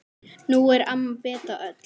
Nú er amma Beta öll.